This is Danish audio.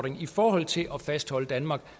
i forhold til at fastholde danmark